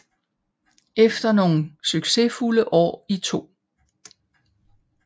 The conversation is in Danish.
Efter nogle succesfulde år i 2